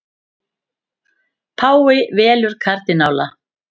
Páfi velur kardínála